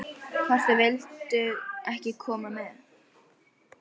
Hvort þau vildu ekki koma með?